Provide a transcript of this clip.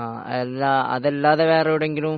അത് അല്ലാതെ വേറെ എവിടെയെങ്കിലും